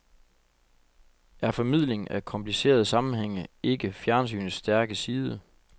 Er formidling af komplicerede sammenhænge ikke fjernsynets stærke side?